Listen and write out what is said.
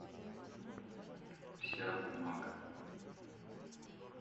вся бумага